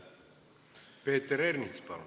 Peeter Ernits, palun!